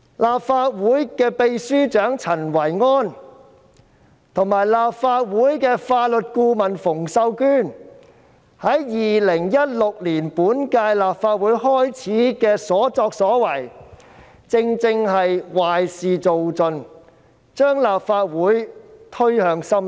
立法會秘書長陳維安及法律顧問馮秀娟在2016年本屆立法會開始時的所作所為，正正是壞事做盡，將立法會推向深淵。